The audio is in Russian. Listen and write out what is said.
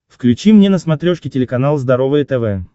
включи мне на смотрешке телеканал здоровое тв